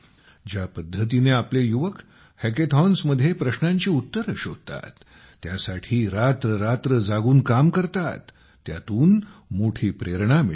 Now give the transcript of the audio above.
ज्या पद्धतीने आपले युवक हॅकेथॉन्समध्ये प्रश्नांची उत्तरे शोधतात त्यासाठी रात्ररात्र जागून काम करतात त्यातून मोठी प्रेरणा मिळते